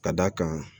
Ka d'a kan